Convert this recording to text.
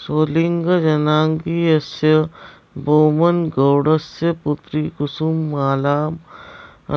सोलिगजनाङ्गीयस्य बोम्मनगौडस्य पुत्रीं कुसुमालां